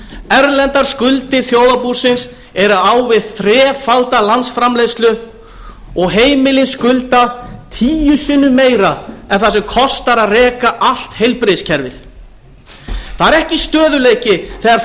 erlendar skuldir þjóðarbúsins eru á við þrefalda landsframleiðslu og heimilin skulda tíu sinnum meira en það sem kostar að reka allt heilbrigðiskerfið það er ekki stöðugleiki þegar